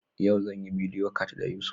Yau zan yi bidiyo cat da Yusuf.